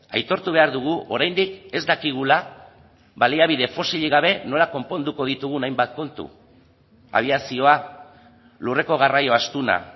aitortu behar dugu oraindik ez dakigula baliabide fosilik gabe nola konponduko ditugun hainbat kontu abiazioa lurreko garraio astuna